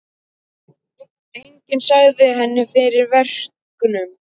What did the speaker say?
Enginn sagði henni fyrir verkum.